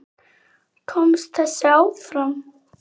Komst þessi áfram?